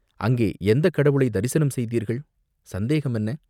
அங்கே எந்தக் கடவுளைத் தரிசனம் செய்தீர்கள்?" "சந்தேகம் என்ன?